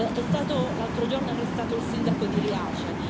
È stato, l'altro giorno, arrestato il sindaco di Riace.